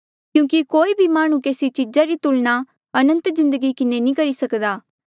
क्यूंकि कोई भी माह्णुं केसी चीजा री तुलना अनंत जिन्दगी किन्हें नी करी सक्दा